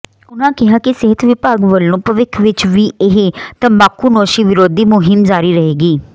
ਉਨ੍ਹਾਂ ਕਿਹਾ ਕਿ ਸਿਹਤ ਵਿਭਾਗ ਵੱਲੋਂ ਭਵਿੱਖ ਵਿੱਚ ਵੀ ਇਹ ਤੰਬਾਕੂਨੋਸ਼ੀ ਵਿਰੋਧੀ ਮੁਹਿੰਮ ਜਾਰੀ ਰਹੇਗੀ